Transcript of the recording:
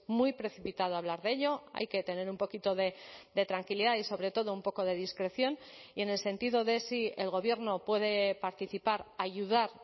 muy precipitado hablar de ello hay que tener un poquito de tranquilidad y sobre todo un poco de discreción y en el sentido de si el gobierno puede participar ayudar